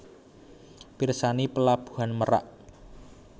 Pirsani Pelabuhan Merak